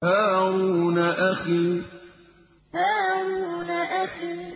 هَارُونَ أَخِي هَارُونَ أَخِي